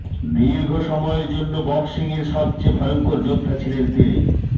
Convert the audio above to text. দীর্ঘ সময়ের জন্য বক্সিংয়ের সবচেয়ে ভয়ঙ্কর যোদ্ধা ছিলেন তিনি